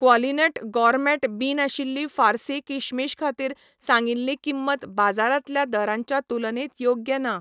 क्वॉलिनट gourmet बीं नाशिल्लीं फार्सी किशमिश खातीर सांगिल्ली किंमत बाजारांतल्या दरांच्या तुलनेत योग्य ना.